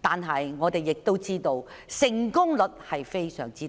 但我們都知道成功率非常低。